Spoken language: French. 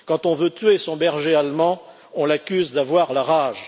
Quand on veut tuer son berger allemand, on l'accuse d'avoir la rage